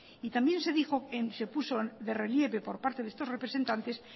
y también se puso de relieve por parte de estos representantes